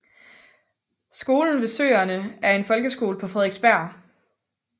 Skolen ved søerne er en folkeskole på Frederiksberg